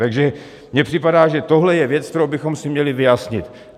Takže mi připadá, že tohle je věc, kterou bychom si měli vyjasnit.